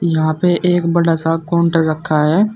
यहां पे एक बड़ा सा काउंटर रखा है।